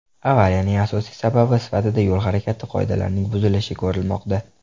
Avariyaning asosiy sababi sifatida yo‘l harakati qoidalarining buzilishi ko‘rilmoqda.